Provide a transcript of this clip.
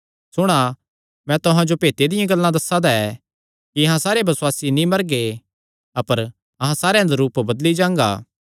सुणा मैं तुहां जो भेतां दियां गल्लां दस्सा दा ऐ कि अहां सारे बसुआसी नीं मरगे अपर अहां सारेयां दा रूप बदली जांगा